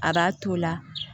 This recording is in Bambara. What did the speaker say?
A b'a to o la